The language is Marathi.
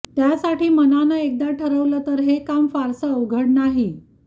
त्यासाठी मनानं एकदा ठरवलं तर हे काम फारसं अवघड नाही